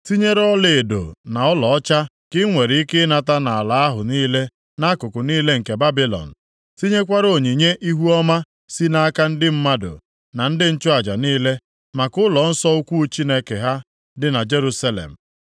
Tinyere ọlaedo na ọlaọcha nke i nwere ike ịnata nʼala ahụ niile nʼakụkụ niile nke Babilọn, tinyekwara onyinye ihuọma si nʼaka ndị mmadụ, na ndị nchụaja niile, maka ụlọnsọ ukwu Chineke ha dị na Jerusalem.